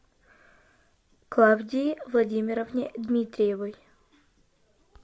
клавдии владимировне дмитриевой